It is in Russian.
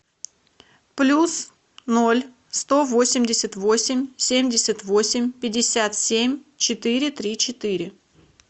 плюс ноль сто восемьдесят восемь семьдесят восемь пятьдесят семь четыре три четыре